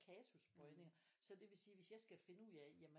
Kasusbøjninger så det vil sige hvis jeg skal finde ud af jamen